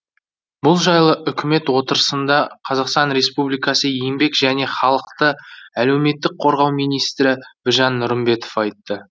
бұл жайлы үкімет отырысында қазақстан республикасы еңбек және халықты әлеуметтік қорғау министрі біржан нұрымбетов айтты